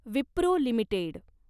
Wipro limited